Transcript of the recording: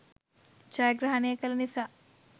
ජයග්‍රහණය කළ නිසා